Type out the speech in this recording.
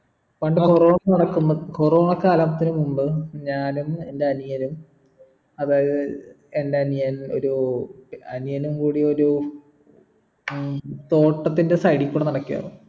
പണ്ട് corona നടക്കുമ്പോ corona കാലത്തിനു മുമ്പ് ഞാനും എൻ്റെ അനിയനും അതായത് എൻ്റെ അനിയൻ ഒരു അനിയനും കൂടി ഒരു ഉം തോട്ടത്തിൻ്റെ side കൂടെ നടക്കേന്ന്